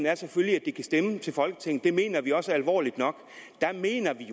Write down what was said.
er selvfølgelig at de kan stemme til folketinget det mener vi også er alvorligt nok der mener vi